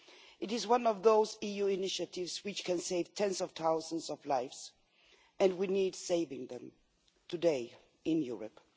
It is one of those EU initiatives that can save tens of thousands of lives and we need to save them today, in Europe.